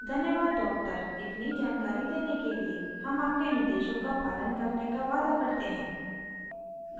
धन्यवाद doctor इतनी जानकारी देने के लिए हम आपके निर्देशों का पालन करने का वादा करते हैं